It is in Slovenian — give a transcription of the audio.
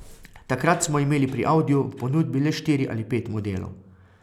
Takrat smo imeli pri Audiju v ponudbi le štiri ali pet modelov.